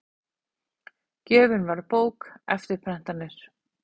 Gjöfin var bók, eftirprentanir